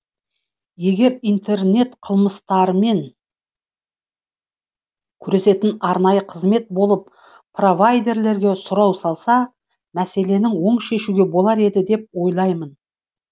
егер интернет қылмыстармен күресетін арнайы қызмет болып провайдерлерге сұрау салса мәселені оң шешуге болар еді деп ойлаймын